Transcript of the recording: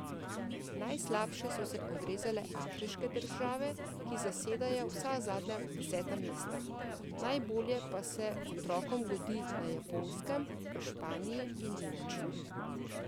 Najslabše so se odrezale afriške države, ki zasedajo vsa zadnja deseta mesta, najbolje pa se otrokom godi na Japonskem, v Španiji in Nemčiji.